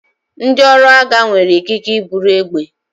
Ndị ọrụ agha nwere ikike iburu egbe.